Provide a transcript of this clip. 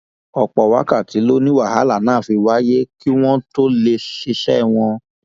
ọpọ wákàtí ló ní wàhálà náà fi wáyé kí wọn tóó lè ṣiṣẹ wọn